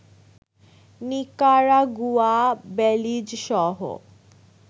Nicaragua, Belize সহ